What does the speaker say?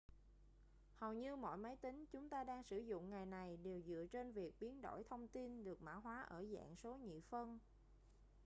hầu như mọi máy tính chúng ta đang sử dụng ngày này đều dựa trên việc biến đổi thông tin được mã hóa ở dạng số nhị phân